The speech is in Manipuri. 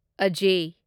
ꯑꯖꯌ